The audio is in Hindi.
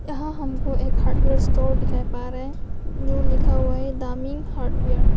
यहां हमको एक हार्डवेयर स्टोर दिखाई पा रहे जो लिखा हुआ है डामिंग हार्डवेयर ।